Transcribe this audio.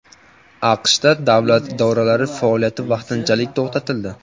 AQSh davlat idoralari faoliyati vaqtinchalik to‘xtatildi.